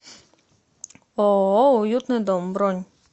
ооо уютный дом бронь